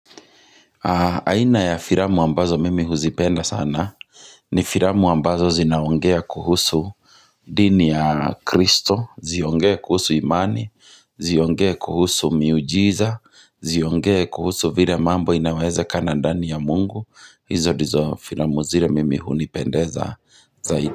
Aina ya filamu ambazo mimi huzipenda sana ni filamu ambazo zinaongea kuhusu dini ya kristo, ziongee kuhusu imani, ziongee kuhusu miujiza, ziongee kuhusu vile mambo inaweze kana ndani ya mungu, hizo ndizo filamu zile mimi hunipendeza zaidi.